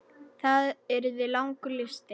Það yrði langur listi.